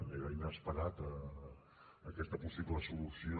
era inesperada aquesta possible solució